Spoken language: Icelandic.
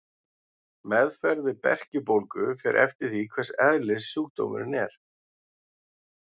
Meðferð við berkjubólgu fer eftir því hvers eðlis sjúkdómurinn er.